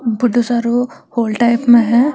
बड़ो सारो hall type में है।